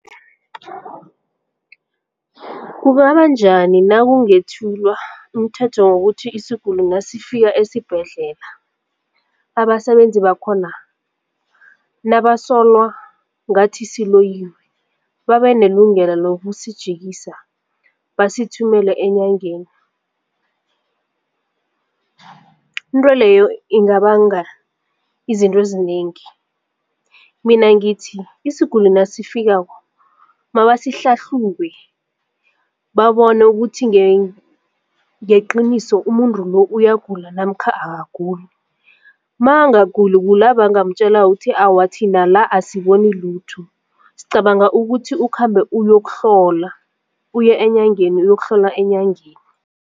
Kungabanjani nakungethulwa umthetho wokuthi isiguli nasifika esibhedlela abasebenzi bakhona nabasolwa ngathi siloyiwe babe nelungelo lokusijikisa basithumele enyangeni? Into leyo ingabanga izinto ezinengi, mina ngithi isiguli nasifikako mabasihlahlube babone ukuthi ngeqiniso umuntu lo uyagula namkha akaguli. Makangaguli kula bangamtjela uthi awa thina la asiboni lutho sicabanga ukuthi ukhambe uyokuhlola uye enyangeni uyokuhlolwa enyangeni.